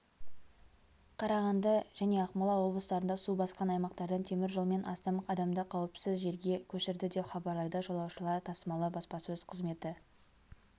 қарағанды және ақмола облыстарында су басқан аймақтардан темір жолмен астам адамды қауіпсіз жерге көшірді деп хабарлайды жолаушылар тасымалы баспасөз қызметі